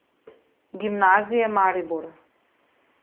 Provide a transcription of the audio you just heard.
Gimnazije Maribor.